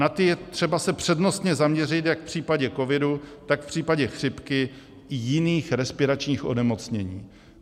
Na ty je třeba se přednostně zaměřit jak v případě covidu, tak v případě chřipky i jiných respiračních onemocnění.